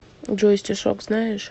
джой стишок знаешь